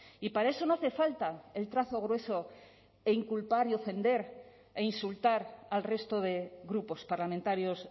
y para eso no hace falta el trazo grueso e inculpar y ofender e insultar al resto de grupos parlamentarios